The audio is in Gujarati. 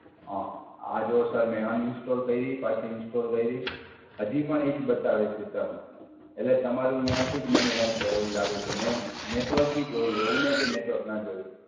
હા, આ જુઓ સર મેં અનઇન્સ્ટોલ કયરી. પાછી ઇન્સ્ટોલ કયરી. હજી પણ એ જ બતાવે છે સર. એટલે તમારું ત્યાંથી જ મને કઈંક એવું લાગે છે. મેં નેટવર્ક બી જોયું. એવું નહીં કે નેટવર્ક ના જોયું.